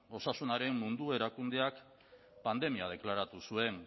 osasunaren mundu erakundeak pandemia deklaratu zuen